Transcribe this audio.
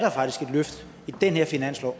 mødes